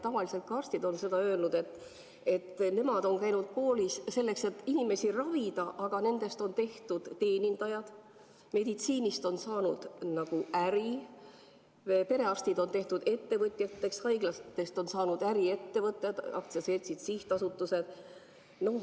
Tavaliselt on arstid öelnud, et nemad on käinud koolis selleks, et inimesi ravida, aga nendest on tehtud teenindajad, meditsiinist on saanud nagu äri, perearstid on tehtud ettevõtjateks, haiglatest on saanud äriettevõtted, aktsiaseltsid, sihtasutused.